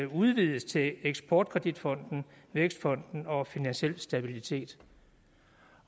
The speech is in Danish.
udvides til eksport kredit fonden vækstfonden og finansiel stabilitet